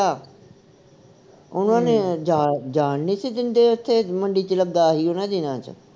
ਉਨ੍ਹਾਂ ਨੇ ਜਾਣ ਜਾਣ ਨਹੀ ਸੀ ਦਿੰਦੇ ਉਥੇ ਮੰਡੀ ਵਿਚ ਲੱਗਾ ਸੀ ਉਨ੍ਹਾਂ ਦਿਨਾਂ ਵਿਚ